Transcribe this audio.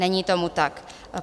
Není tomu tak.